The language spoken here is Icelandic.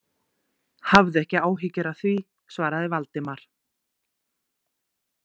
Hafðu ekki áhyggjur af því- svaraði Valdimar.